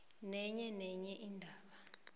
nenye nenye indaba